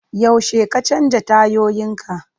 Yaushe ka canza tayoyinka?